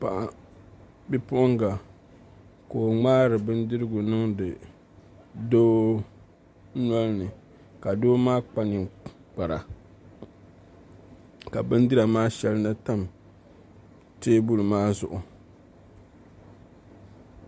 Bipuɣunga ka o ŋmaari bindirigu niŋdi doo nolini ka doo maa kpa ninkpara ka bindira maa shɛli na tam teebuli maa zuɣu